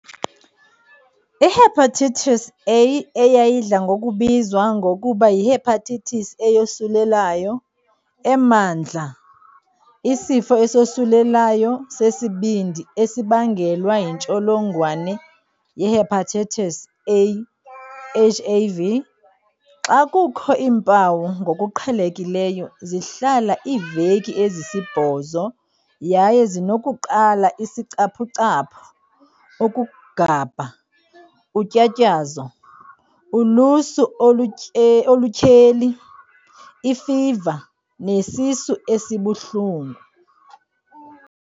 IHepatitis A, eyayidla ngokubizwa ngokuba yihepatitis eyosulelayo, emandla isifo esosulelayo sesibindi esibangelwa yintsholongwane yehepatitis A, HAV. Xa kukho iimpawu ngokuqhelekileyo zihlala iiveki ezisibhozo yaye zinokuqala isicaphucaphu, ukugabha, utyatyazo, ulusu olutyheli, ifiva, nesisu esibuhlungu.